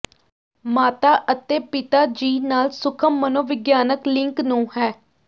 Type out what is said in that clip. ਮਾਤਾ ਅਤੇ ਪਿਤਾ ਜੀ ਨਾਲ ਸੂਖਮ ਮਨੋਵਿਗਿਆਨਕ ਲਿੰਕ ਨੂੰ ਹੈ